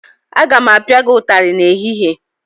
Aga m apia gị ụtarị n'ehihie!